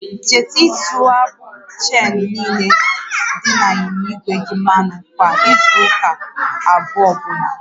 Cheta ịtụ agbụ cheenu niile dị n'ịnyịnya igwe gị mmanụ kwa izu ụka abụọ ọbụla